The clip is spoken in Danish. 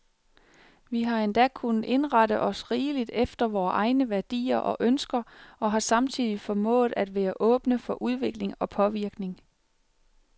Vi har endda kunnet indrette os rimeligt efter vore egne værdier og ønsker, og har samtidig formået at være åbne for udvikling og påvirkning.